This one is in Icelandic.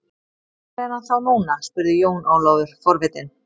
Hvar er hann þá núna spurði Jón Ólafur forvitinn.